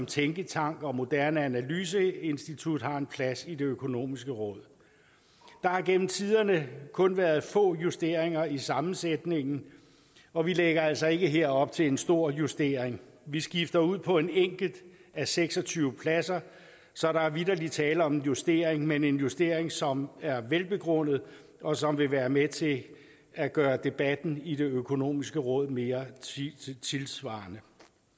tænketank og moderne analyseinstitut har en plads i det økonomiske råd der har gennem tiderne kun været få justeringer i sammensætningen og vi lægger altså ikke her op til en stor justering vi skifter ud på en enkelt af seks og tyve pladser så der er vitterlig tale om en justering men en justering som er velbegrundet og som vil være med til at gøre debatten i det økonomiske råd mere tidssvarende